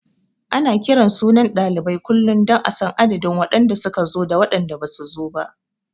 Ana kiran sunan ɗalibai kullum don a san adadin waɗanda su ka zo da waɗanda basu zo ba.